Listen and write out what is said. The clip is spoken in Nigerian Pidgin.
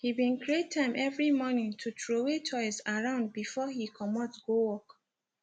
he been create time every morning to troway toys around before he comot go work